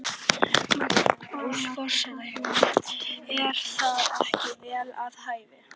Magnús: Forsetahjónin, er það ekki vel við hæfi?